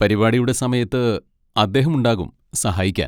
പരിപാടിയുടെ സമയത്ത് അദ്ദേഹം ഉണ്ടാകും സഹായിക്കാൻ.